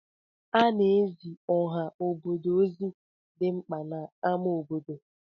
Ana-ezi ọha obodo ozi dị mkpa n'amá obodo.